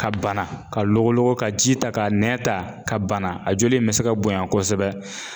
Ka bana ka loglogo ka ji ta ka nɛn ta ka bana a joli in bɛ se ka bonya kosɛbɛ